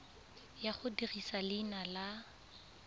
ya go dirisa leina la